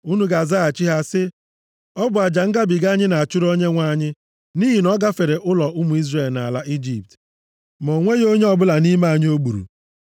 Unu ga-azaghachi ha sị, ‘Ọ bụ aja ngabiga anyị na-achụrụ Onyenwe anyị nʼihi na ọ gafere ụlọ ụmụ Izrel nʼala Ijipt, mgbe o gburu ndị Ijipt, ma o nweghị onye ọbụla nʼime anyị o gburu.’ ”